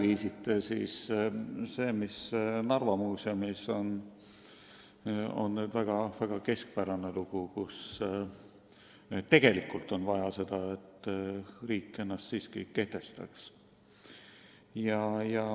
See, mis praegu toimub Narva Muuseumis, on väga keskpärane juhtum ja tegelikult oleks vaja, et riik ennast siiski kehtestaks.